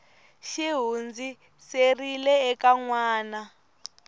xi hundziserile eka n wana